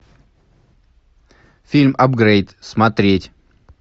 фильм апгрейд смотреть